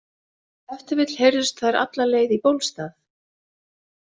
Ef til vill heyrðust þær alla leið í Bólstað.